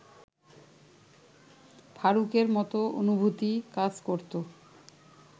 ফারুকের মতো অনুভূতি কাজ করত